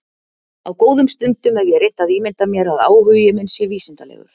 Á góðum stundum hef ég reynt að ímynda mér að áhugi minn sé vísindalegur.